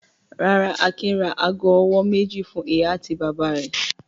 Rárá, Akin ra ago-ọwọ́ méjì fún ìyá àti bàbá rẹ̀.